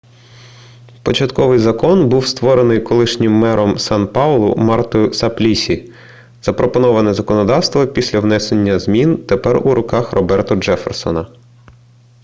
початковий закон був створений колишнім мером сан-паулу мартою саплісі запропоноване законодавство після внесення змін тепер у руках роберто джефферсона